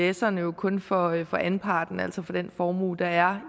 ivserne jo kun for anparten altså for den formue der er